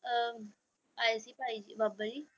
ਅਹ ਆਏ ਸੀ ਭਾਈ ਜੀ ਬਾਬਾ ਜੀ।